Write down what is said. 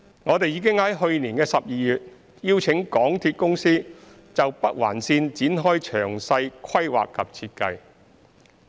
我們已在去年12月邀請香港鐵路有限公司就北環綫展開詳細規劃及設計。